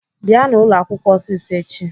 Bịanụ ụlọakwụkwọ ọsịsọ echi!